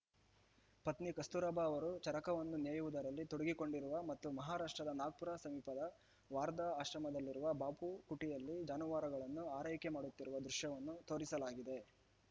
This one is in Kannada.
ಪತ್ನಿ ಕಸ್ತೂರಬಾ ಅವರು ಚರಕವನ್ನು ನೇಯುವುದರಲ್ಲಿ ತೊಡಗಿಕೊಂಡಿರುವ ಮತ್ತು ಮಹಾರಾಷ್ಟ್ರದ ನಾಗ್ಪುರ ಸಮೀಪದ ವಾರ್ಧಾ ಆಶ್ರಮದಲ್ಲಿರುವ ಬಾಪು ಕುಟಿಯಲ್ಲಿ ಜಾನುವಾರುಗಳನ್ನು ಆರೈಕೆ ಮಾಡುತ್ತಿರುವ ದೃಶ್ಯವನ್ನೂ ತೋರಿಸಲಾಗಿದೆ